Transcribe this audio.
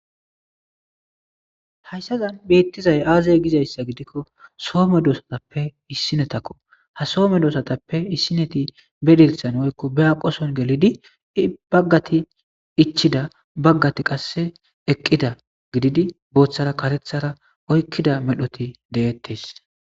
Hayssazan beittizay aazey gizayssa gidikko soome doosatappe issinetakko ha soome doosatappe issineti bedirthan woykko be aqoson gelidi baggati ichida baggati qasse eqqida gididi booththara karethara oykkida medhoti deettes.